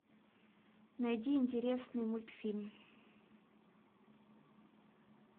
найди интересный мультфильм